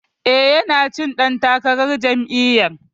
E, yana cikin ɗan takarar jami'yar.